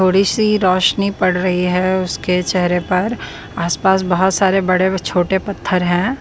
थोड़ी सी रोशनी पड़ रही है उसके चेहरे पर आसपास बहुत सारे बड़े छोटे पत्थर है।